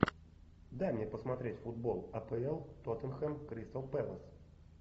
дай мне посмотреть футбол апл тоттенхэм кристал пэлас